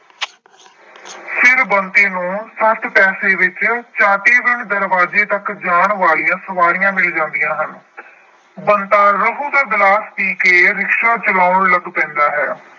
ਫਿਰ ਬੰਤੇ ਨੂੰ ਸੱਠ ਪੈਸੇ ਵਿੱਚ ਚਾਟੀਵਿੰਡ ਦਰਵਾਜੇ ਤੱਕ ਜਾਣ ਵਾਲੀਆਂ ਸਵਾਰੀਆਂ ਮਿਲ ਜਾਂਦੀਆਂ ਹਨ। ਬੰਤਾ ਰਹੂ ਦਾ ਗਿਲਾਸ ਪੀ ਕੇ rickshaw ਚਲਾਉਣ ਲੱਗ ਪੈਂਦਾ ਹੈ।